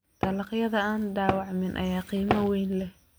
Dalagyada aan dhaawacmin ayaa qiimo weyn leh.